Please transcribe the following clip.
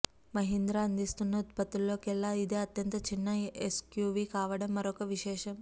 మహీంద్రా అందిస్తున్న ఉత్పత్తులలో కెల్లా ఇదే అత్యంత చిన్న ఎస్యూవీ కావటం మరొక విశేషం